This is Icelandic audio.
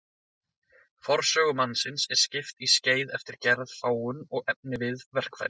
Forsögu mannsins er skipt í skeið eftir gerð, fágun og efniviði verkfæra.